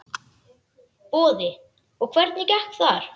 Boði: Og hvernig gekk þar?